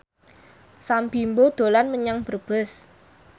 Sam Bimbo dolan menyang Brebes